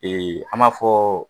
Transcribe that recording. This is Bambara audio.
Ee an b'a fɔ